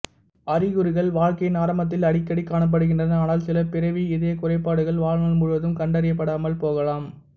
அறிகுறிகள் வாழ்க்கையின் ஆரம்பத்தில் அடிக்கடி காணப்படுகின்றன ஆனால் சில பிறவி இதயக் குறைபாடுகள் வாழ்நாள் முழுவதும் கண்டறியப்படாமல் போகலாம்